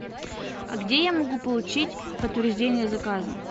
а где я могу получить подтверждение заказа